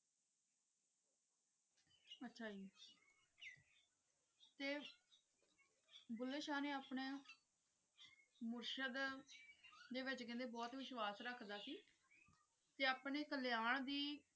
ਆਚਾ ਜੀ ਤੇ ਭੁੱਲੇ ਸ਼ਾਹ ਨੇ ਆਪਣਾ ਮੁਰਸ਼ਦ ਦੇ ਵਿਚ ਕੇਹ੍ਨ੍ਡੇ ਬੋਹਤ ਵਿਸ਼ਵਾਸ਼ ਰਖਦਾ ਸੀ ਤੇ ਅਪਨੇ ਕਲੀਆਂ ਦੀ